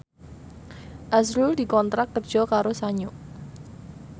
azrul dikontrak kerja karo Sanyo